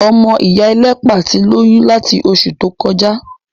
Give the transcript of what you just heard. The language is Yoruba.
Ọmọ ìyá ẹlẹ́pà tí lóyún láti oṣù tó kọjá.